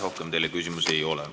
Rohkem teile küsimusi ei ole.